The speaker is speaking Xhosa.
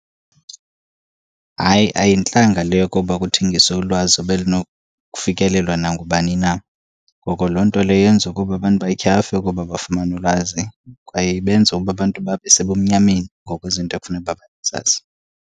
Hayi, ayintlanga le yokoba kuthengiswe ulwazi obelinokufikelelwa nangubani na. Ngoko loo nto leyo yenza ukuba abantu batyhafe ukuba bafumane ulwazi, kwaye ibenza ukuba abantu babe sebumnyameni ngokwezinto ekufuneka uba bazazi.